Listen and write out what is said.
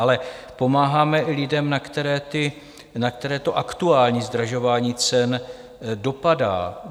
Ale pomáháme i lidem, na které to aktuální zdražování cen dopadá.